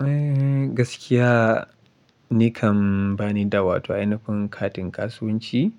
Eh gaskiya nikan bani da wato ainifin katin kasuwanci,